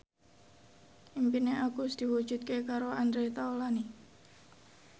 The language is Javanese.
impine Agus diwujudke karo Andre Taulany